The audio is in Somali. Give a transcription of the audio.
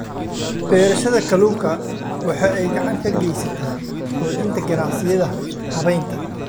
Beerashada kalluunka waxa ay gacan ka geysataa xoojinta ganacsiyada habaynta.